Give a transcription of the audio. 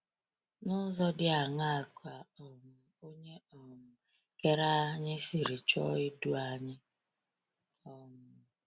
N’ụzọ dị aṅaa ka um Onye um Kere anyị siri chọọ idu anyị? um